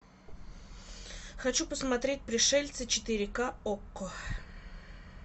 хочу посмотреть пришельцы четыре ка окко